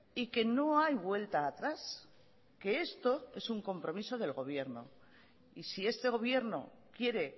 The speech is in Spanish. y que no hay vuelta atrás que esto es un compromiso del gobierno y si este gobierno quiere